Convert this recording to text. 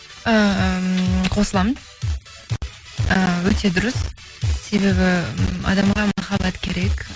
ііі қосыламын ііі өте дұрыс себебі м адамға махаббат керек